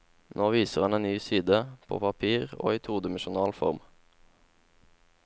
Nå viser han en ny side, på papir, i todimensjonal form.